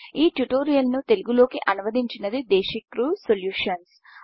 ఈ ట్యూటోరియల్ ని తెలుగు లో కి అనువదించింది దేశిక్రు సల్యూషన్స్